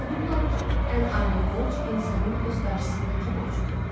Unudublar ki, ən ali borc insanın öz qarşısındakı borcudur.